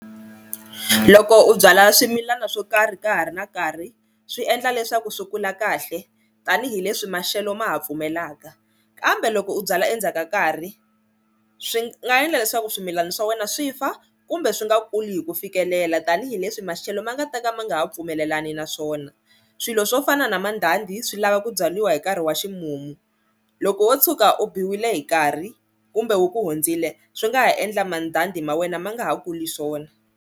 Loko u byala swimilana swo karhi ka ha ri na nkarhi swi endla leswaku swi kula kahle tanihileswi maxelo ma ha pfumelaka, kambe loko u byala endzhaku ka nkarhi swi nga endla leswaku swimilana swa wena swi fa kumbe swi nga kuli hi ku fikelela tanihileswi maxelo ma nga ta ka ma nga ha pfumelelani na swona, swilo swo fana na mandhandha swi lava ku byariwa hi nkarhi wa ximumu loko wo tshuka u biwile hi nkarhi kumbe wu hundzile swi nga ha endla mandhandha ma wena ma nga ha kuli swona.